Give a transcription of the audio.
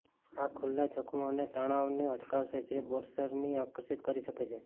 આ ખુલ્લા જખમો અને તણાવને અટકાવશે જે બોરર્સને આકર્ષિત કરી શકે છે